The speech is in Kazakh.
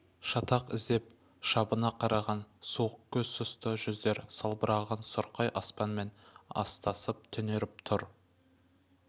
шатақ іздеп шабына қараған суық көз сұсты жүздер салбыраған сұрқай аспанмен астасып түнеріп тұр